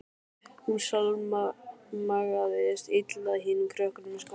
Hún samlagaðist illa hinum krökkunum í skólanum.